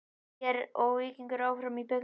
ÍR og Víkingur áfram í bikarnum